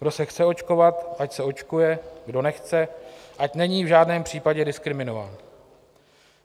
Kdo se chce očkovat, ať se očkuje, kdo nechce, ať není v žádném případě diskriminován.